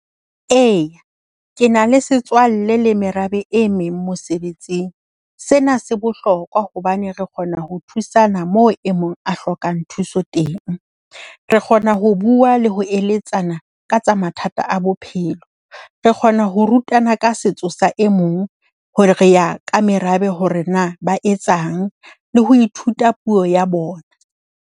E, ke na le setswalle le merabe e meng mosebetsing. Sena se bohlokwa hobane re kgona ho thusana moo e mong a hlokang thuso teng. Re kgona ho bua le ho eletsana ka tsa mathata a bophelo. Re kgona ho rutana ka setso sa e mong hore re ya ka merabe, hore na ba etsang le ho ithuta puo ya bona.